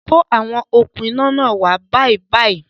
Kó àwọn okún iná náà wá bàìbàì!